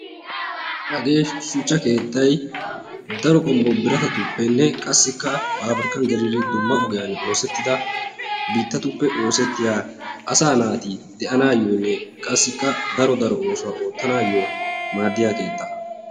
Hagee shuchcha keettay daro qommo biratatuppenne qassikka paabrikkan gelidi dumma ogiyan osettidi biittatuppe oosettiyaa asaa naati de'anaayyoonne qassikka daro daro oosuwaa oottanaayyo maaddiya keettaa.